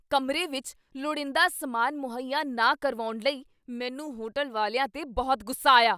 ਕਮਰੇ ਵਿੱਚ ਲੋੜੀਂਦਾ ਸਮਾਨ ਮੁਹੱਈਆ ਨਾ ਕਰਵਾਉਣ ਲਈ ਮੈਨੂੰ ਹੋਟਲ ਵਾਲਿਆਂ 'ਤੇ ਬਹੁਤ ਗੁੱਸਾ ਆਇਆ।